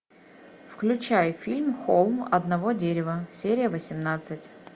включай фильм холм одного дерева серия восемнадцать